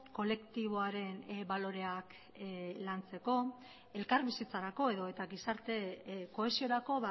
kolektiboaren baloreak lantzeko elkarbizitzarako edota gizarte kohesiorako